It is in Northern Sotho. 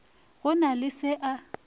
go na le se a